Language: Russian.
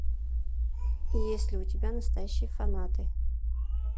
есть ли у тебя настоящие фанаты